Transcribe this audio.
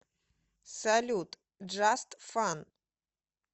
салют джаст фан